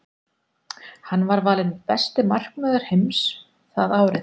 Hann var valinn besti markvörður heims það árið.